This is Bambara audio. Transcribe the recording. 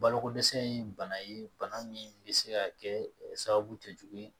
Balokodɛsɛ ye bana ye bana min bɛ se ka kɛ sababu tɛ jugun